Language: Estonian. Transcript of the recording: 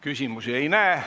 Küsimusi ei näe.